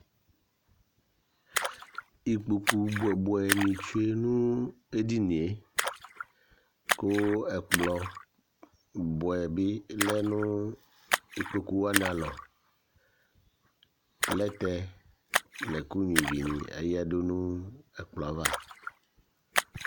Ikpoku bʋɛ ni tsue nu edini ye kʋ ɛkplɔ bʋɛ bi lɛ nʋ ikpoku wani alɔ Plɛtɛ nʋ ɛku nyʋa ívì ni ayadu ɛkplɔ ava